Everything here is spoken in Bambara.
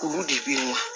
Kuru de bɛ